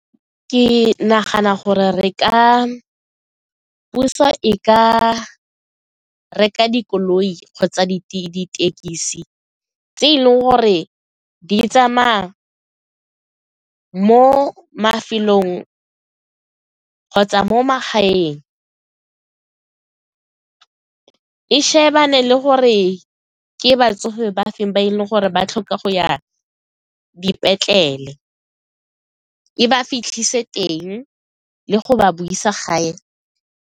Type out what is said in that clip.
Ke nagana gore puso e ka reka dikoloi kgotsa dithekisi tse e leng gore di tsamaya mo mafelong kgotsa mo magaeng e shebane le gore ke batsofe ba feng ba e leng gore ba tlhoka go ya dipetlele, e ba fitlhisa teng le go ba boisa gae.